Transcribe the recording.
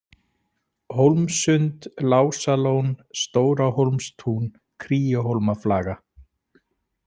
Hólmssund, Lásalón, Stórahólmstún, Kríuhólmaflaga